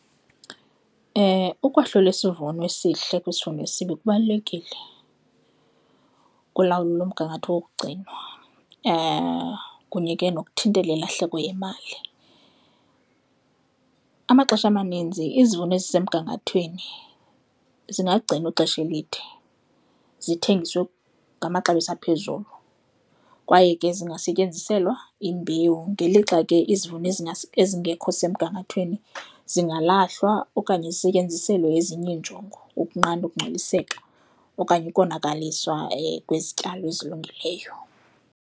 Ukwahlula isivuno esihle kwisivuno esibi kubalulekile kulawulo lomgangatho wokugcinwa kunye ke nokuthintela ilahleko yemali. Amaxesha amaninzi izivuno ezisemgangathweni zingagcinwa ixesha elide zithengiswe ngamaxabiso aphezulu, kwaye ke zingasetyenziselwa imbewu ngelixa ke izivuno ezingekho semgangathweni zingalahlwa okanye zisetyenziselwe ezinye iinjongo ukunqanda ukungcoliseka okanye ukonakaliswa kwezityalo ezilungileyo.